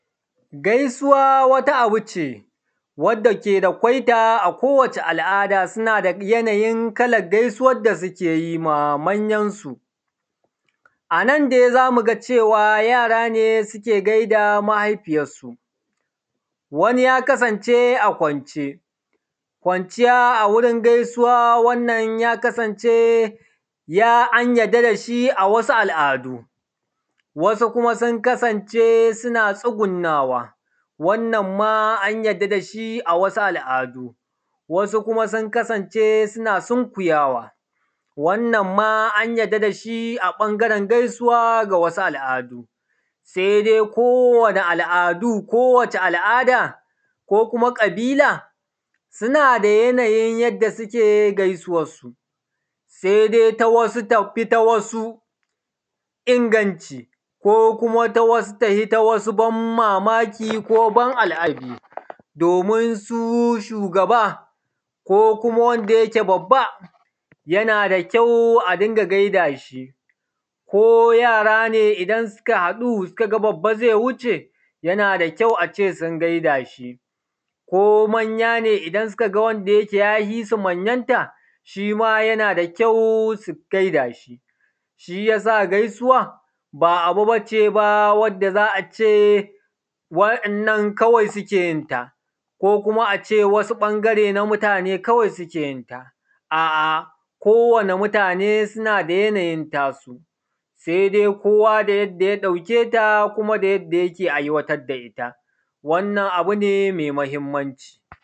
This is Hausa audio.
Gaisuwa wata aba ce wanda ko wace al’ada tana da yanayin kalan gaisuwan da suke yi wa manyansu, a nan dai za mu ga cewa yara ne suke gaida mahaifiyansu, wani ya kasance a kwance, kwanciya a wurin gaisuwa wannan ya kasance an yadda da shi a wasu al’adu, wasu kuma sun kasance suna tsugunawa, wannan an yadda da shi a wasu al’adu wasu kuma sun kasance suna sunkuyawa wannan ma an yadda da shi a ɓangaren gaisuwa. A wasu al’adu sai dai ko wace al’ada ko kuma ƙabila suna da yanayin yadda suke gaisuwansu, sai dai ta wasu tafi ta wasu inganci ko kuma ta wasu tafi ta wasu ban mamaki ko ban al’ajabi, domin su shugaba ko kuma wanda yake babba yana da kyau a dinga gai da shi ko yara ne idan suka ga babba zai wuce yana da kyau su dinga gai da shi ko manya ne idan suka ga wanda ya fi su manyanta shi ma yana da kyau su gaida shi. Shi ya sa gaisuwa ba abu ba ce wadda za a ce waɗannan kawai su suke yin ta ko kuma a ce wasu ɓangare na mutane kawai suke yin ta, a’a kowane mutane suna da yanayin tasu sai dai kowa da yadda ya ɗauke ta kuma da yadda yake aiwatar da ita wannan abu ne mai mahimmanci.